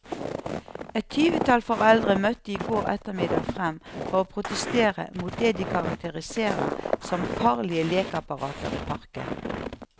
Et tyvetall foreldre møtte i går ettermiddag frem for å protestere mot det de karakteriserer som farlige lekeapparater i parken.